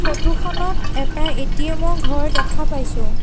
Photo খনত এটা ATM ৰ ঘৰ দেখা পাইছোঁ।